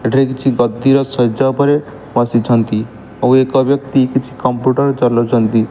ଏଠାରେ କିଛି ଗଦିର ଶେଯ ଓପରେ ବସିଛନ୍ତି ଆଉ ଏକ ବ୍ୟକ୍ତି କିଛି କମ୍ପୁଟର୍ ଚଲଉଚନ୍ତି।